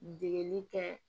Degeli kɛ